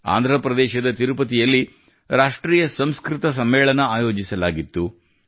ಆಂಧ್ರ ಪ್ರದೇಶದ ತಿರುಪತಿಯಲ್ಲಿ ರಾಷ್ಟ್ರೀಯ ಸಂಸ್ಕೃತ ಸಮ್ಮೇಳನ ಆಯೋಜಿಸಲಾಗಿತ್ತು